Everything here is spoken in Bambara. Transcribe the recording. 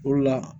O de la